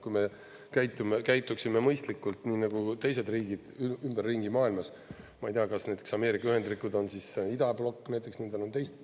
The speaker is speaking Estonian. Kui me käituksime mõistlikult, nii nagu teised riigid ümberringi maailmas, ma ei tea, kas näiteks Ameerika Ühendriigid on siis idablokk …?